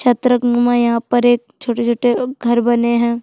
छत्रक मन म यहाँ पर एक छोटे-छोटे घर बने हे।